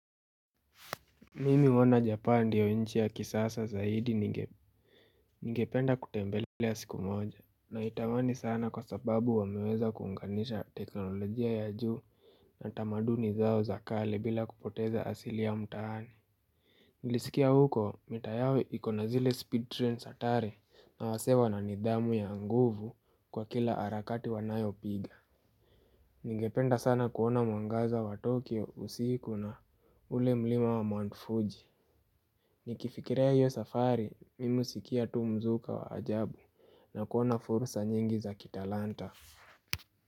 Mimi huona Japan ndiyo inchi ya kisasa zaidi ningependa kutembelea siku moja Naitamani sana kwa sababu wameweza kuunganisha teknolojia ya juu na tamaduni zao za kale bila kupoteza asili ya mtaani Nilisikia huko mitaa yao iko na zile speed trains hatari na wasee wana nidhamu ya nguvu kwa kila arakati wanayopiga Ningependa sana kuona mwangaza wa Tokyo usiku na ule mlima wa mwanfuji Nikifikiria hiyo safari, mimi husikia tu mzuka wa ajabu na kuona fursa nyingi za kitalanta.